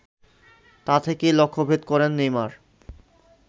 তা থেকেই লক্ষ্যভেদ করেন নেইমার